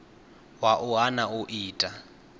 wa u hana u ita